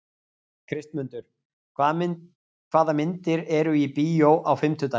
Kristmundur, hvaða myndir eru í bíó á fimmtudaginn?